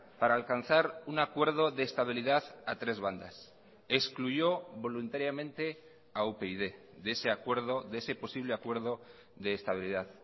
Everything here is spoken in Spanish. para alcanzar un acuerdo de estabilidad a tres bandas excluyó voluntariamente a upyd de ese acuerdo de ese posible acuerdo de estabilidad